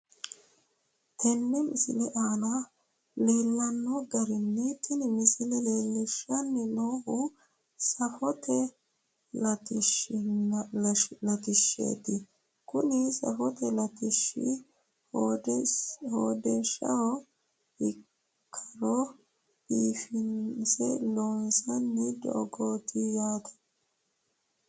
Tenne misile aana leellanno garinni tini misile leellishshanni noohu safote latishshaati. Kuni safote latishshi hodhishshaho ikkara biifinse loonsoonni doogooti yaate.